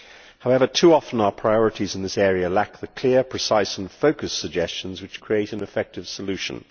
However, too often our priorities in this area lack the clear, precise and focused suggestions which make for effective solutions.